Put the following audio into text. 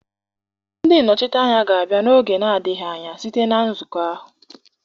Ndị nnọchiteanya anyị ga-abịa n'oge na-adịghị anya site na nzukọ ahụ.